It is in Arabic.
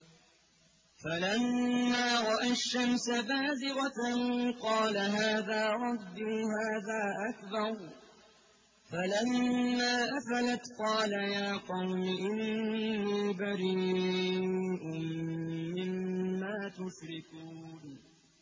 فَلَمَّا رَأَى الشَّمْسَ بَازِغَةً قَالَ هَٰذَا رَبِّي هَٰذَا أَكْبَرُ ۖ فَلَمَّا أَفَلَتْ قَالَ يَا قَوْمِ إِنِّي بَرِيءٌ مِّمَّا تُشْرِكُونَ